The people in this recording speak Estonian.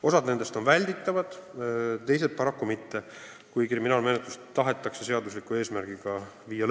Osa nendest ebameeldivustest on välditavad, osa paraku mitte, kui kriminaalmenetlus tahetakse lõpule viia.